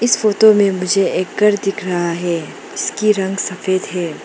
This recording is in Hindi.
इस फोटो में मुझे एक घर दिख रहा है इसकी रंग सफेद है।